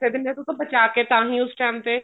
ਦਿਨੇ ਆ ਬਚਾ ਕੇ ਤਾਂਹੀ ਉਸ time ਤੇ